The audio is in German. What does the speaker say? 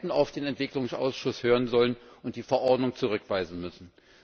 Wir hätten auf den Entwicklungsausschuss hören sollen und die Verordnung zurückweisen müssen.